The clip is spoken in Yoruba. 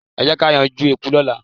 Ẹ jẹ́ ká yanjú eku lọ́la.